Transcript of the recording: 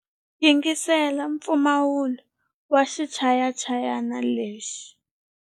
Yingisela mpfumawulo wa xichayachayani lexi.